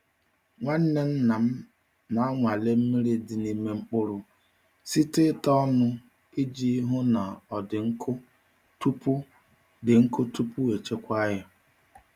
Nwanne nna m na-anwale mmiri dị n’ime mkpụrụ site n’ịta ọnụ iji hụ na ọ dị nkụ tupu dị nkụ tupu echekwaa ya.